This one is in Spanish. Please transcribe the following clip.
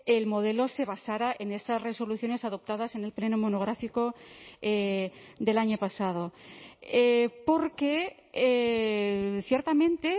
el modelo se basara en esas resoluciones adoptadas en el pleno monográfico del año pasado porque ciertamente